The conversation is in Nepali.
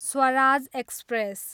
स्वराज एक्सप्रेस